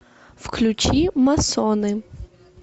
включи масоны